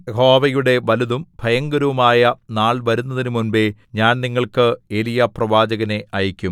യഹോവയുടെ വലുതും ഭയങ്കരവുമായ നാൾ വരുന്നതിനു മുമ്പേ ഞാൻ നിങ്ങൾക്ക് ഏലീയാപ്രവാചകനെ അയക്കും